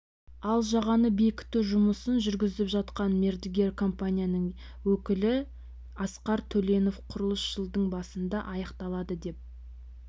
ал жағаны бекіту жұмысын жүргізіп жатқан мердігер компанияның өкілі асқар төленов құрылыс жылдың басында аяқталады деп